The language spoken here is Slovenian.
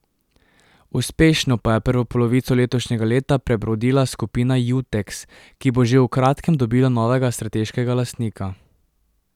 Uspešno pa je prvo polovico letošnjega leta prebrodila Skupina Juteks, ki bo že v kratkem dobila novega strateškega lastnika.